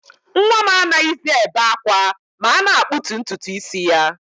Nwa m anaghịzi ebe ákwá ma a na-akputu ntutu isi ya